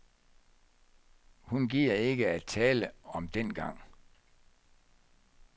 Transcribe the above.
Hun gider ikke at tale om dengang.